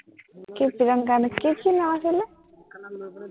কি তিৰংকা নে কি, কি কি নাম আছিলে,